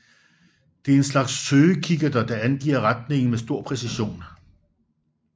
De er en slags søgekikkerter der angiver retningen med stor præcision